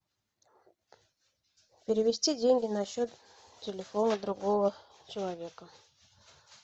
перевести деньги на счет телефона другого человека